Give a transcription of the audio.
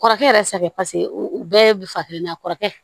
Kɔrɔkɛ yɛrɛ sa u bɛɛ bi fan kelen na a kɔrɔkɛ